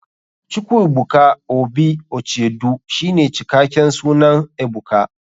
chukwuebuka obi uchedu shine cikaken sunan ebuka.